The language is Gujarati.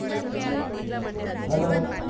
Hello હમ